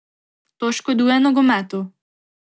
To škoduje nogometu.